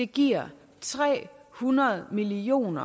giver tre hundrede million